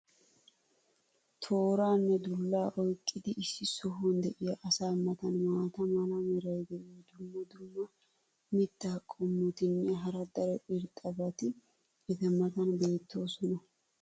tooraanne dulaa oyqqidi issi sohuwan diya asaa matan maata mala meray diyo dumma dumma mitaa qommotinne hara daro irxxabati eta matan beetoosona.